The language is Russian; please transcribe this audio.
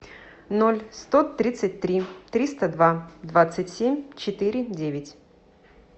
ноль сто тридцать три триста два двадцать семь четыре девять